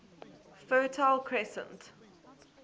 fertile crescent